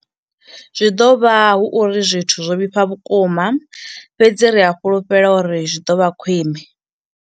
Zwi ḓo vha hu uri zwithu zwo vhifha vhukuma fhedzi ri a fhulufhela uri zwi ḓo vha khwiṋe.